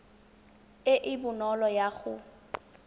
e e bonolo ya go